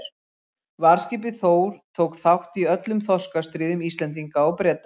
Varðskipið Þór tók þátt í öllum þorskastríðum Íslendinga og Breta.